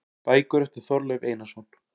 Bækur eftir Þorleif Einarsson